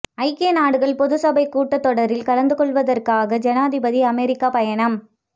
ஐக்கிய நாடுகள் பொதுச்சபைக் கூட்டத் தொடரில் கலந்து கொள்வதற்காக ஜனாதிபதி அமெரிக்கா பயணம்